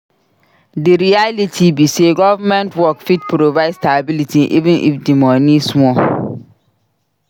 Di reality be sey government work fit provide stability even if di money small.